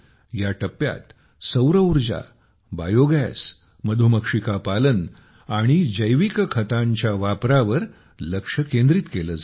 या टप्प्यात सौर उर्जाबायोगॅस मधुमक्षिका पालन आणि जैविक खतांच्या वापरावर लक्ष केंद्रित केले जाते